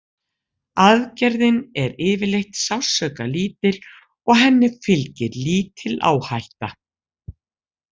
Aðgerðin er yfirleitt sársaukalítil og henni fylgir lítil áhætta.